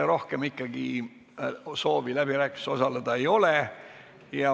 Rohkem soove läbirääkimistel osaleda ei ole.